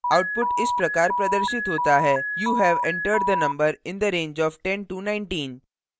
output इस प्रकार प्रदर्शित होता है:you have entered the number in the range of 1019